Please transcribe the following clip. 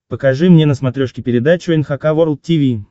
покажи мне на смотрешке передачу эн эйч кей волд ти ви